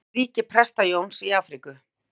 Það sýnir ríki Presta-Jóns í Afríku.